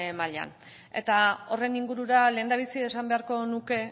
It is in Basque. maila eta horren ingurura lehendabizi esan beharko nuke